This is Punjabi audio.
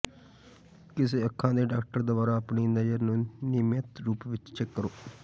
ਕਿਸੇ ਅੱਖਾਂ ਦੇ ਡਾਕਟਰ ਦੁਆਰਾ ਆਪਣੀ ਨਜ਼ਰ ਨੂੰ ਨਿਯਮਿਤ ਰੂਪ ਵਿੱਚ ਚੈੱਕ ਕਰੋ